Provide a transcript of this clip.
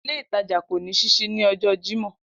Ile itaja ko ni sisi ni ọjọ Jimọ.